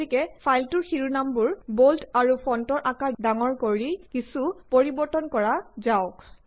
গতিকে ফাইলটোৰ শিৰোনামবোৰ বল্ড আৰু ফন্টৰ আকাৰ ডাঙৰ কৰি কিছু পৰিবৰ্তন কৰা যাওঁক